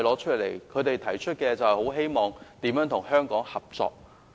他們均指出希望與香港合作。